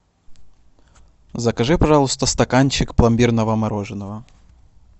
закажи пожалуйста стаканчик пломбирного мороженого